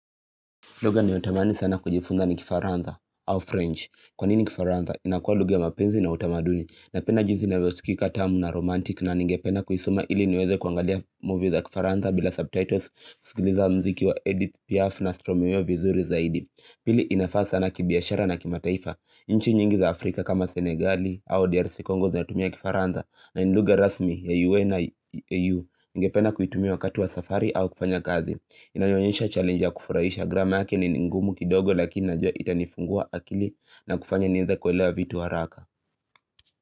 Lugha ninayotamani sana kujifunza ni kifaransa au French. Kwa nini kifaransa? Inakuwa lugha ya mapenzi na utamaduni. Napenda jinsi na inavyosikika tamu na romantic na ningependa kuisoma ili niweze kuangalia movie za kifaranza bila subtitles. Sikiliza muziki wa Edith Piaf na Stromyo vizuri zaidi. Pili inafaa sana kibiashara na kimataifa. Nchi nyingi za Afrika kama Senegali au DRC Congo zinatumia kifaransa. Na ni lugha rasmi ya UN na ningependa kuitumia wakati wa safari au kufanya kazi. Inanionyesha challenge ya kufurahisha grammar yake ni ngumu kidogo lakini najua itanifungua akili na kufanya nieze kuelewa vitu haraka.